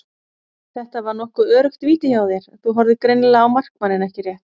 Þetta var nokkuð öruggt víti hjá þér, þú horfðir greinilega á markmanninn ekki rétt?